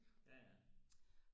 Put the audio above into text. ja ja